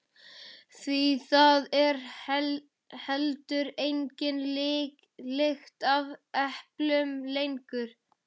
Því það er heldur engin lykt af eplum lengur.